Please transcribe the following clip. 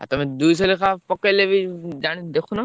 ତମେ ଦୁଇଶହ ଲେଖା ପକେଇଲେ ବି ଜାଣି ଦେଖୁନ?